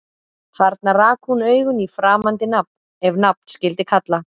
Þarna rak hún augun í framandi nafn- ef nafn skyldi kalla